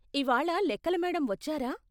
ఇవాళ లెక్కల మేడమ్ వచ్చారా?